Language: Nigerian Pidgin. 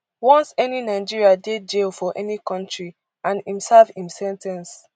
once any nigeria dey jail for any kontri and im serve im sen ten ce